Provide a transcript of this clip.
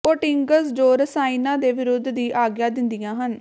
coatings ਜੋ ਰਸਾਇਣਾਂ ਦੇ ਵਿਰੋਧ ਦੀ ਆਗਿਆ ਦਿੰਦੀਆਂ ਹਨ